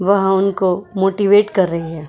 वह उनको मोटिवेट कर रही है।